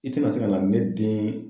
I te na se ka na ne den